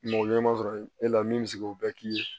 Mɔgɔ ɲɛnɛma sɔrɔ e la min bɛ se k'o bɛɛ k'i ye